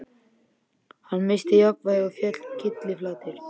Hann missti jafnvægið og féll kylliflatur.